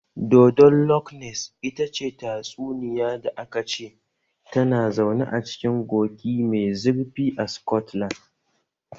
Dodon Loch Ness ita ce tatsuniya da aka ce tana zaune cikin kogi mai zurfi a Sikotlan